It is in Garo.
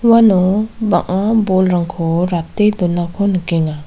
uano bang·a bolrangko rate donako nikenga.